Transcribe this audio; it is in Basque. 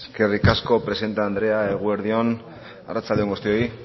eskerrik asko presidente andrea eguerdi on arratsalde on guztioi